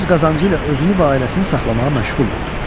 Öz qazancıyla özünü və ailəsini saxlamağa məşğul oldu.